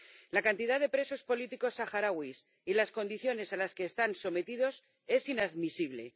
La cantidad de presos políticos saharauis y las condiciones a las que están sometidos son inadmisibles.